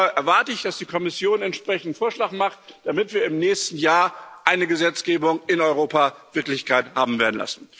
Und da erwarte ich, dass die Kommission einen entsprechenden Vorschlag macht, damit wir im nächsten Jahr eine Gesetzgebung in Europa verwirklicht haben werden.